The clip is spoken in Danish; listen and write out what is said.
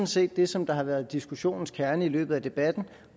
set det som har været diskussionens kerne i løbet af debatten og